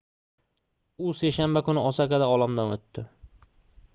u seshanba kuni osakada olamdan oʻtdi